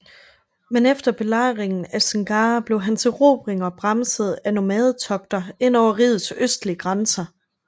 Men efter belejringen af Singara blev hans erobringer bremset af nomadetogter ind over rigets østlige grænser